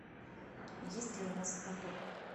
есть ли у вас каток